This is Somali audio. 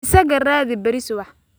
Isaga raadi berri subax